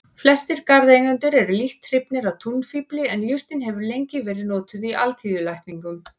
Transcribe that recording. Flestir garðeigendur eru lítt hrifnir af túnfífli en jurtin hefur lengi verið notuð í alþýðulækningum.